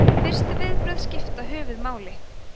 fyrstu viðbrögð skipta höfuðmáli